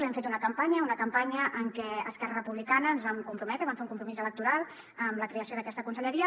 hem fet una campanya una campanya en què a esquerra republicana ens vam comprometre vam fer un compromís electoral amb la creació d’aquesta conselleria